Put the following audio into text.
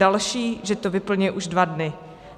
Další, že to vyplňuje už dva dny.